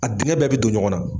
A dingɛ bɛɛ be don ɲɔgɔn na.